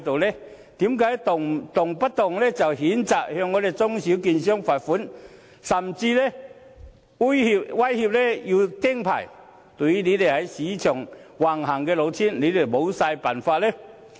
為何動輒譴責中小券商，並罰款，甚至威脅要"釘牌"，但對這些在市場橫行的老千，卻毫無辦法呢？